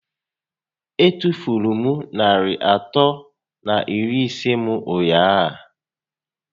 E tufuru m narị atọ na iri ise m ụnyaahụ